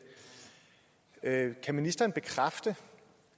er en det kan ministeren bekræfte